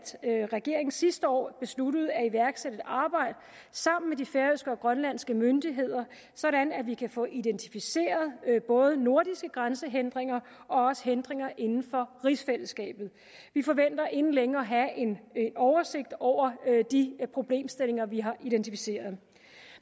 regeringen sidste år besluttede at iværksætte et arbejde sammen med de færøske og grønlandske myndigheder så vi kan få identificeret både nordiske grænsehindringer og hindringer inden for rigsfællesskabet vi forventer inden længe at have en oversigt over de problemstillinger vi har identificeret